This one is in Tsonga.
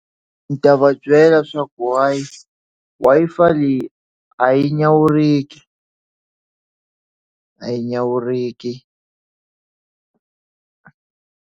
A ndzi ta va byela swaku wi Wi-Fi leyi a yi nyawuriki a yi nyawuriki.